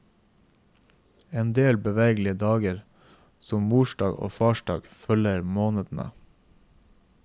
En del bevegelige dager som mordag og farsdag følger månedene.